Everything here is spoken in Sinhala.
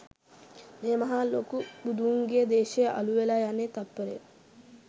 මේ මහා ලොකු බුදුන්ගේ දේශය අළු වෙලා යන්නේ තත්පරයෙන්